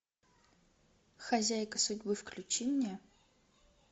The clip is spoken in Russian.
хозяйка судьбы включи мне